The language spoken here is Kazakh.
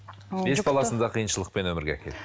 бес баласын да қиыншылықпен өмірге әкелді